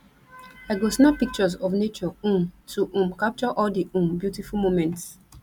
i go snap pictures of nature um to um capture all di um beautiful moments